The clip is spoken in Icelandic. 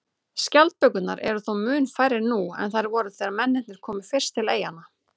Skjaldbökurnar eru þó mun færri nú en þær voru þegar mennirnir komu fyrst til eyjanna.